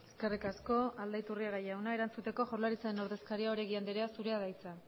eskerrik asko aldaiturriaga jauna erantzuteko jaurlaritzaren ordezkaria oregi anderea zurea da hitza